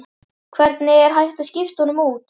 Hvernig er hægt að skipta honum út?